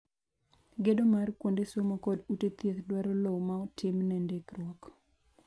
gedo mar kuonde somo kod ute thieth dwaro lowo ma otim ne ndikruok.